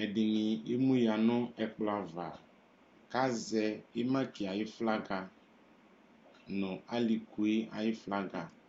Ɛdini emu ya nʋ ɛkplɔ ava kazɛ imaki ayʋ flaga nʋ alikʋ yɛ ayʋ flaga